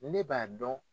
Ne b'a dɔn